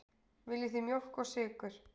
Viljið þið mjólk og sykur?